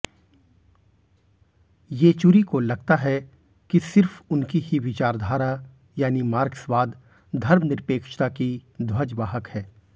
येचुरी को लगता है कि सिर्फ उनकी ही विचारधारा यानी मार्क्सवाद धर्मनिरपेक्षता की ध्वजवाहक है